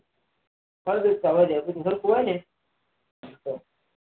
ફળદ્રુપતા વધે બધું સરખું હોય